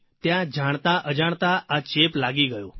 ત્યાં જાણતા અજાણતા આ ચેપ લાગી ગયો